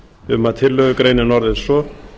um að tillögugreinin orðist svo